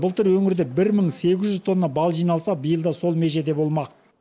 былтыр өңірде бір мың сегіз жүз тонна бал жиналса биыл да сол межеде болмақ